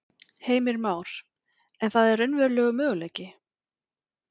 Heimir Már: En það er raunverulegur möguleiki?